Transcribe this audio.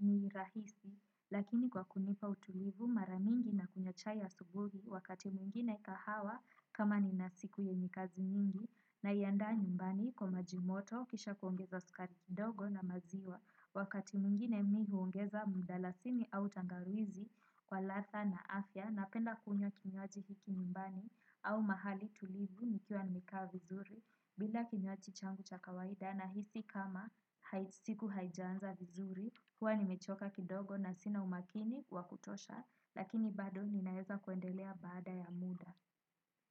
ni rahisi lakini kwa kunipa utulivu. Mara mingi nakunywa chai asubuhi wakati mwingine kahawa kama nina siku yenye kazi nyingi. Naiandaa nyumbani kwa maji moto kisha kuongeza sukari kidogo na maziwa. Wakati mwngine mi huongeza mdalasini au tangawizi kwa ladha na afya napenda kunywa kinywaji hiki nyumbani au mahali tulivu nikiwa nimekaa vizuri. Bila kinywaji changu cha kawaida nahisi kama siku haijanza vizuri. Huwa nimechoka kidogo na sina umakini wa kutosha lakini bado ninaeza kuendelea baada ya muda.